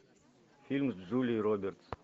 фильм с джулией робертс